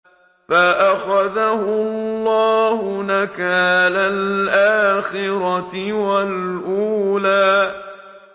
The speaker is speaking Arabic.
فَأَخَذَهُ اللَّهُ نَكَالَ الْآخِرَةِ وَالْأُولَىٰ